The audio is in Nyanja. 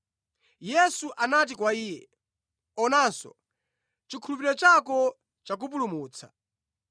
Yesu anati kwa iye, “Onanso; chikhulupiriro chako chakupulumutsa.”